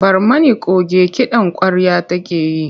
Barmani coge kiɗan ƙwarya take yi.